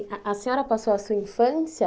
A a senhora passou a sua infância...